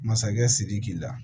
Masakɛ sidiki la